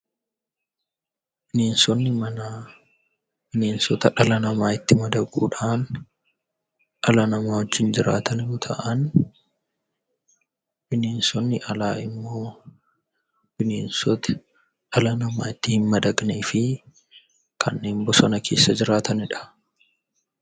Bineensoonni mana, bineensota dhala namatti madaqudhan dhala nama wajjin jiraatan yemmuu ta'an, bineensonni alaa immoo bineensoota dhala namaa ittin madaqanii fi kanneen bosona keessa jiraatanidha.